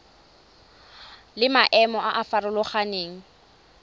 le maemo a a farologaneng